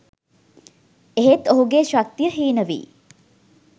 එහෙත් ඔහුගේ ශක්තිය හීන වී